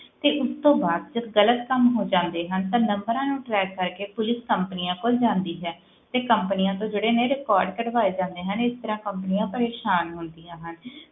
ਤੇ ਉਸ ਤੋਂ ਬਾਅਦ ਜਦ ਗ਼ਲਤ ਕੰਮ ਹੋ ਜਾਂਦੇ ਹਨ ਤਾਂ numbers ਨੂੰ track ਕਰਕੇ ਪੁਲਿਸ companies ਕੋਲ ਜਾਂਦੀ ਹੈ, ਤੇ companies ਤੋਂ ਜਿਹੜੇ ਨੇ record ਕਢਵਾਏ ਜਾਂਦੇ ਹਨ, ਇਸ ਤਰ੍ਹਾਂ companies ਪਰੇਸ਼ਾਨ ਹੁੰਦੀਆਂ ਹਨ,